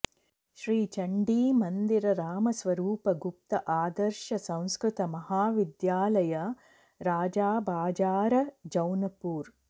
श्रीचण्डी मंदिर रामस्वरूप गुप्त आदर्श संस्कृत महाविद्यालय राजाबाजार जौनपुर